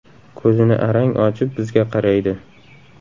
Ko‘zini arang ochib, bizga qaraydi.